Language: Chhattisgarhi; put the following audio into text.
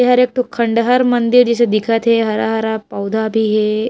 ये हर एक ठो खंड़हर मंदिर जइसे दिखत हे हरा - हरा पौधा भी हे। --